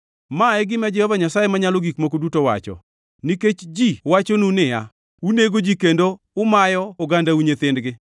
“ ‘Ma e gima Jehova Nyasaye Manyalo Gik Moko Duto wacho: Nikech ji wachonu niya, “Unego ji kendo umayo ogandau nyithindgi,”